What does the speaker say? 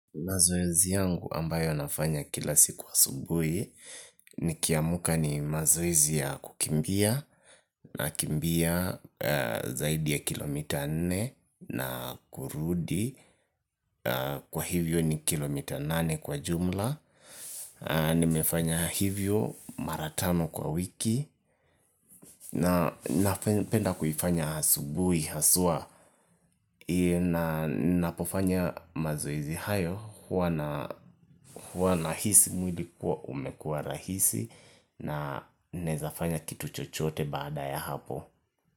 Mazoezi yangu ambayo nafanya kila siku asubuhi nikiamka ni mazoezi ya kukimbia. Nakimbia zaidi ya kilomita nne na kurudi kwa hivyo ni kilomita nane kwa jumla nimefanya hivyo maratano kwa wiki napenda kuifanya asubuhi, haswa ninapofanya mazoezi hayo huwa nahisi mwili kuwa umekuwa rahisi na nawezafanya kitu chochote baada ya hapo.